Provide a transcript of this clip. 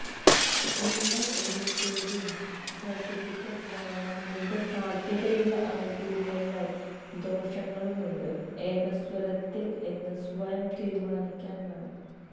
നിങ്ങൾ ഒരു savings certificate വാങ്ങാൻ മുമ്പ് സാധ്യതയുള്ള ആനുകൂല്യങ്ങൾ ദോഷങ്ങളുമുണ്ട് ഏകസ്വരത്തിൽ എന്ന് സ്വയം തീരുമാനിക്കാൻ വേണം